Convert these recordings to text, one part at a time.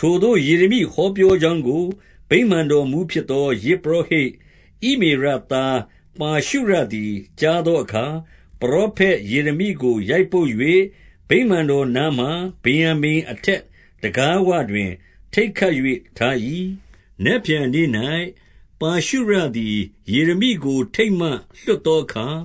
ထိုသို့ယေရမိဟောပြောကြောင်းကို၊ ဗိမာန်တော် မှူးဖြစ်သော ယဇ်ပုရောဟိတ် ဣမေရသား ပါရှုရသည် ကြားသောအခါ၊ 2 ပရောဖက် ယေရမိကို ရိုက်ပုတ်၍၊ ဗိမာန်တော် နားမှာ ဗင်္ယာမိန် အထက်တံခါးဝတွင် ထိတ်ခတ်၍ ထား၏။ 3 နက်ဖြန်နေ့၌ ပါရှုရသည် ယေရမိကို ထိတ်မှ လွှတ်သောအခါ၊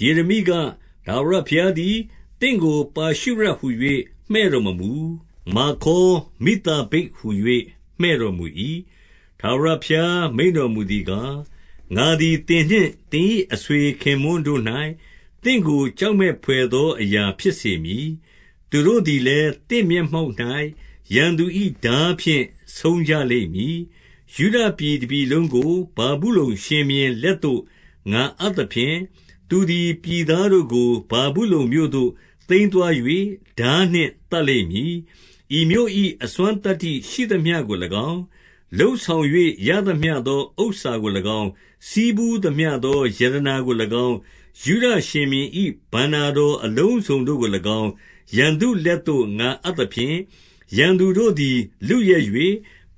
ယေရမိက၊ ထာဝရဘုရားသည် သင့်ကို ပါရှုရဟူ၍ မှည့်တော်မမူ။ မာဂေါမိဿဘိတ်ဟူ၍ မှည့် တော်မူ၏။ 4 ထာဝရဘုရားမိန့်တော်မူသည်ကား၊ ငါသည် သင်နှင့်သင်၏ အဆွေခင်ပွန်းတို့၌၊ သင့်ကိုကြောက်မက် ဘွယ်သော အရာဖြစ်စေမည်။ သူတို့သည်လည်း၊ သင့် မျက်မှောက်၌ ရန်သူ၏ထားဖြင့် ဆုံးကြလိမ့်မည်။ ယုဒ ပြည်တပြည်လုံးကို ဗာဗုလုန်ရှင်ဘုရင်လက်သို့ ငါအပ် သဖြင့်၊ သူသည် ပြည်သားတို့ကို ဗာဗုလုန်မြို့သို့ သိမ်းသွား ၍၊ ထားနှင့်သတ်လိမ့်မည်။ 5 ဤမြို့၏ အစွမ်းသတ္တိရှိသမျှကို၎င်း၊ လုပ်ဆောင် ၍ ရသမျှသော ဥစ္စာကို၎င်း၊ ဆည်းဖူးသမျှသော ရတနာ ကို၎င်း၊ ယုဒရှင်ဘုရင်၏ ဘဏ္ဍာတော် အလုံးစုံတို့ကို၎င်း၊ ရန်သူလက်သို့ ငါအပ်သဖြင့်၊ ရန်သူတို့သည် လုယက်၍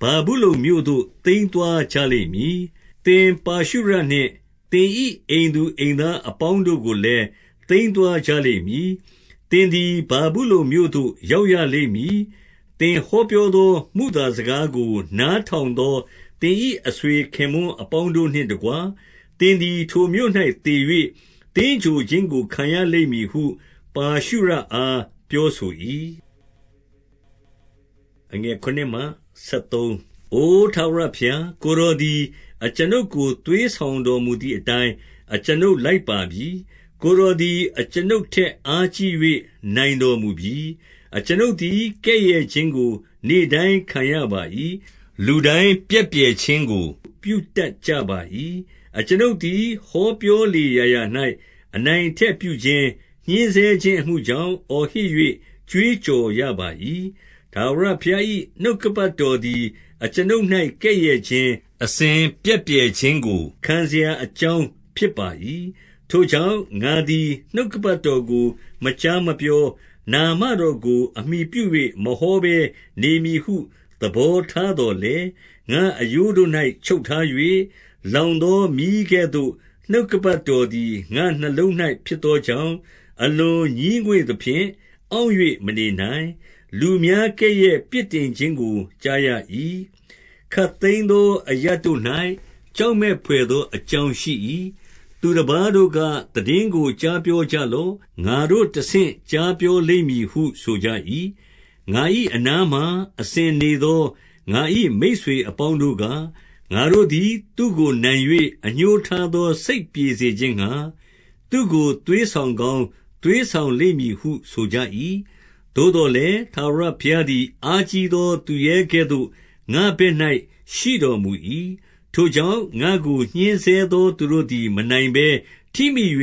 ဗာဗုလုန်မြို့သို့ သိမ်းသွားကြလိမ့်မည်။ 6 သင်ပါရှုရနှင့် သင်၏အိမ်သူ အိမ်သားအပေါင်း တို့ကိုလည်း သိမ်းသွားကြလိမ့်မည်။ သင်သည် ဗာဗုလုန် မြို့သို့ ရောက်ရလိမ့်မည်။ သင်ဟောပြောသော မုသာ စကားကို နားထောင်သော သင်၏အဆွေခင်ပွန်း အပေါင်းတို့နှင်တကွ၊ သင်သည် ထိုမြို့၌ သေ၍သင်္ဂြိုဟ် ခြင်းကို ခံရလိမ့်မည်ဟု ပါရှုရအားပြောဆို၏။ 7 အို ထာဝရဘုရား၊ ကိုယ်တော်သည် အကျွန်ုပ်ကို သွေးဆောင်တော်မူသည်အတိုင်း အကျွန်ုပ်လိုက်ပါပြီ။ ကိုယ်တော်သည် အကျွန်ုပ်ထက်အားကြီး၍ နိုင်တော်မူပြီ။ အကျွန်ုပ်သည် ကဲ့ရဲ့ခြင်းကို နေ့တိုင်းခံရပါ၏။ လူတိုင်း ပြက်ပြယ်ခြင်းကို ပြုတတ်ကြပါ၏။ 8 အကျွန်ုပ်သည် ဟောပြောလေရာရာ၌ အနိုင် အထက်ပြုခြင်း၊ ညှဉ်းဆဲခြင်းအမှုကြောင့် အော်ဟစ်၍ ကြွေးကြော်ရပါ၏။ ထာဝရဘုရား၏ နှုတ်ကပတ်တော် သည် အကျွန်ုပ်၌ ကဲ့ရဲ့ခြင်း၊ အစဉ်ပြက်ပြယ်ခြင်းကို ခံစေရာအကြောင်း ဖြစ်ပါ၏။ 9 ထိုကြောင့်၊ ငါသည် နှုတ်ကပတ်တော်ကို မကြား မပြော၊ နာမတော်ကို အမှီပြု၍ မဟောဘဲနေမည်ဟု သဘောထားသော်လည်း၊ ငါ့အရိုးတို့၌ ချုပ်ထား၍၊ လောင်သောမီးကဲ့သို့ နှုတ်ကပတ်တော်သည် ငါ့နှလုံး၌ ဖြစ်သောကြောင့်၊ အလွန်ငြီးငွေ့သဖြင့် အောင့်၍မနေနိုင်၊ 10 လူများ ကဲ့ရဲ့ပြစ်တင်ခြင်းကို ကြားရ၏။ ခပ် သိမ်းသော အရပ်တို့၌ ကြောက်မက်ဘွယ်သော အကြောင်းရှိ၏။ သူတပါးတို့က သိတင်းကို ကြားပြော ကြလော့။ ငါတို့သည် တဆင့်ကြားပြောလိမ့်မည်ဟု ဆိုကြ၏။ ငါ၏အနားမှာ အစဉ်နေသော ငါ၏မိတ်ဆွေ အပေါင်းတို့က၊ ငါတို့သည် သူ့ကိုနိုင်၍ အငြိုးထားသော စိတ်ပြေစေခြင်းငှါ၊ သူ့ကို သွေးဆောင်ကောင်း သွေး ဆောင်လိမ့်မည်ဟု ဆိုကြ၏။ 11 သို့သော်လည်း၊ ထာဝရဘုရားသည် အားကြီး သော သူရဲကဲ့သို့ ငါ့ဘက်၌ ရှိတော်မူ၏။ ထိုကြောင့်၊ ငါ့ကိုညှဉ်းဆဲသော သူတို့သည် မနိုင်ဘဲ ထိမိ၍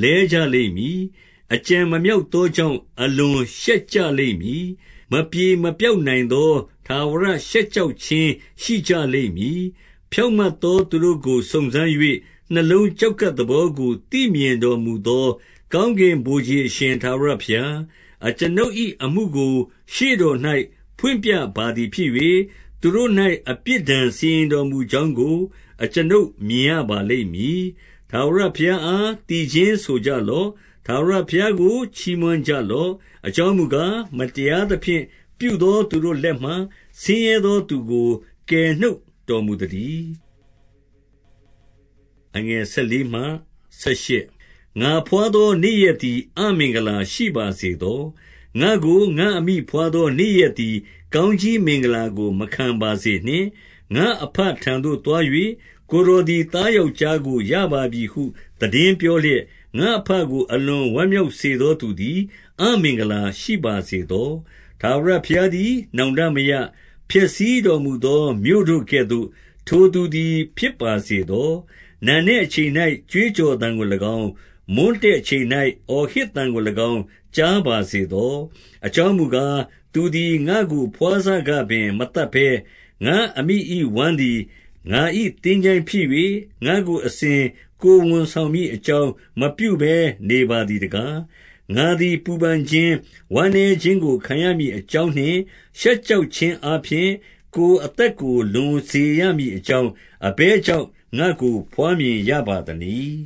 လဲကြ လိမ့်မည်။ အကြံမမြောက်သောကြောင့် အလွန်ရှက်ကြ လိမ့်မည်။ မပြေမပျောက်နိုင်သော ထာဝရရှက်ကြောက် ခြင်း ရှိကြလိမ့်မည်။ 12 ဖြောင့်မတ်သော သူတို့ကို စုံစမ်း၍၊ နှလုံး ကျောက်ကပ်သဘောကို သိမြင်တော်မူသော ကောင်းကင် ဗိုလ်ခြေအရှင် ထာဝရဘုရား၊ အကျွန်ုပ်၏အမှုကို ရှေ့တော်၌ ဖွင့်ပြပါသည်ဖြစ်၍၊ သူတို့၌ အပြစ်ဒဏ် စီရင်တော်မူကြောင်းကို အကျွန်ုပ်မြင်ရပါလိမ့်မည်။ 13 ထာဝရဘုရားအား သီချင်းဆိုကြလော့။ ထာဝရ ဘုရားကို ချီးမွမ်းကြလော့။ အကြောင်းမူကား၊ မတရား သဖြင့် ပြုသော သူတို့လက်မှ၊ ဆင်းရဲသောသူကို ကယ်နှုတ်တော်မူသတည်း။ 14 ငါဘွားသော နေ့ရက်သည် အမင်္ဂလာရှိပါစေ သော။ ငါ့ကို ငါ့အမိဘွားသော နေ့ရက်သည် ကောင်းကြီး မင်္ဂလာကို မခံပါစေနှင့်။ 15 ငါ့အဘထံသို့သွား၍၊ ကိုယ်တော်သည် သား ယောက်ျားကို ရပါပြီဟု သိတင်းပြောလျက်၊ ငါ့အဘကို အလွန်ဝမ်းမြောက်စေသော သူသည် အမင်္ဂလာရှိပါ စေသော။ 16 ထာဝရဘုရားသည် နောင်တမရ၊ ဖျက်ဆီးတော် မူသော မြို့တို့ကဲ့သို့၊ ထိုသူသည်ဖြစ်ပါစေသော။ နံနက် အချိန်၌ ကြွေးကြော်သံကို၎င်း၊ မွန်းတည့်အချိန်၌ အော် ဟစ်သံကို၎င်း ကြားပါစေသော။ 17 အကြောင်းမူကား၊ သူသည် ငါ့ကိုဘွားစကပင် မသတ်ဘဲ၊ ငါ့အမိ၏ ဝမ်းသည်ငါ၏ သင်္ချိုင်းဖြစ်၍၊ ငါ့ကိုအစဉ် ကိုယ်ဝန်ဆောင်မည် အကြောင်းမပြုဘဲ နေပါ သည်တကား။ 18 ငါသည် ပူပန်ခြင်း၊ ဝမ်းနည်းခြင်းကို ခံရမည် အကြောင်းနှင့် ရှက်ကြောက်ခြင်းအားဖြင့် ကိုယ်အသက် ကို လွန်စေရမည်အကြောင်း၊ အဘယ်ကြောင့် ငါ့ကို ဘွားမြင်ရပါသနည်း။